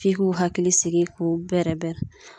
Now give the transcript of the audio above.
F'i k'u hakili sigi, k'u bɛrɛ bɛrɛ.